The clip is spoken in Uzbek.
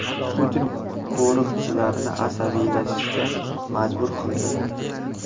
Putin qo‘riqchilarini asabiylashishga majbur qildi .